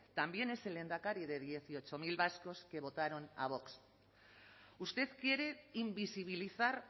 también es el lehendakari de dieciocho mil vascos que votaron a vox usted quiere invisibilizar